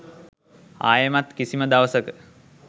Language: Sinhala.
ආයෙමත් කිසිම දවසක